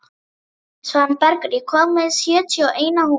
Svanbergur, ég kom með sjötíu og eina húfur!